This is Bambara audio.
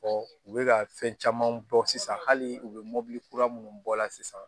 u bɛ ka fɛn caman bɔ sisan hali u bɛ mɔbili kura minnu bɔ a la sisan